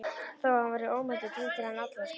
Þó að hann væri ómeiddur titraði hann allur og skalf.